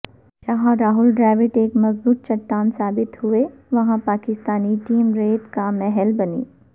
جہاں راہول ڈراوڈ ایک مضبوط چٹان ثابت ہوئے وہاں پاکستانی ٹیم ریت کا محل بنی